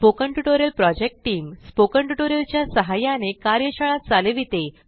spoken tutorial project team spoken tutorials च्या सहाय्याने कार्यशाळा चालविते